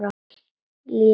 Lék við hana.